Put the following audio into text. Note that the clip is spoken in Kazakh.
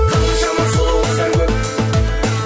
қаншама сұлу қыздар көп